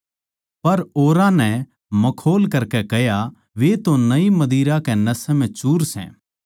पर औरां नै मखौल करकै कह्या वे तो नई मदिरा कै नशै म्ह चूर सै